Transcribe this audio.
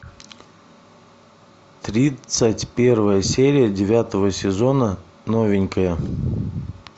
тридцать первая серия девятого сезона новенькая